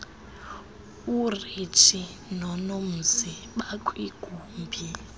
urenji nonomzi bakwigumbi